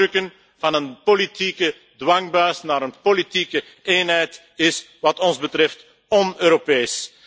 Het doordrukken van een politieke dwangbuis naar een politieke eenheid is wat ons betreft on Europees.